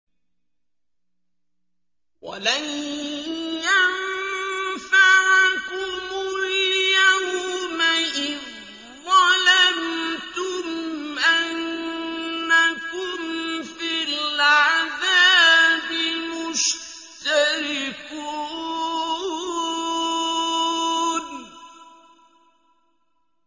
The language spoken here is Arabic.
وَلَن يَنفَعَكُمُ الْيَوْمَ إِذ ظَّلَمْتُمْ أَنَّكُمْ فِي الْعَذَابِ مُشْتَرِكُونَ